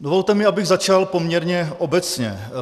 Dovolte mi, abych začal poměrně obecně.